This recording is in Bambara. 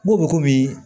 N ko bɛ komi